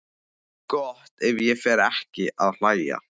Gott ef ég fer ekki að hlæja.